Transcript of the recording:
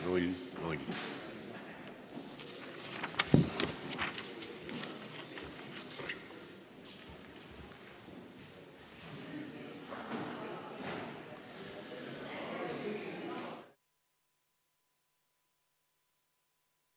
Istungi lõpp kell 12.24.